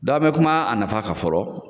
a me kuma a nafa kan fɔlɔ,